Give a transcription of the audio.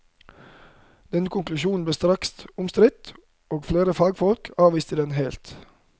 Denne konklusjonen ble straks omstridt, og flere fagfolk avviste den helt.